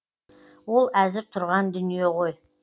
ол әзір тұрған дүние ғой